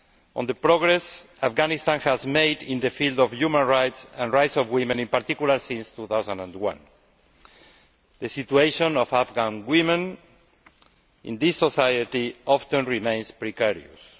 on the progress Afghanistan has made in the field of human rights, and rights of women in particular, since 2001. The situation of Afghan women in this society often remains precarious.